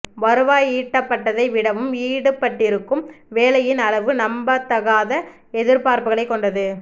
வருவாய் ஈட்டப்பட்டதை விடவும் ஈடுபட்டிருக்கும் வேலையின் அளவு நம்பத்தகாத எதிர்பார்ப்புகளைக் கொண்டது